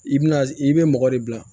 I bi na i bɛ mɔgɔ de bila